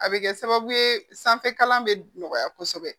A bɛ kɛ sababu ye sanfɛ kalan bɛ nɔgɔya kosɛbɛ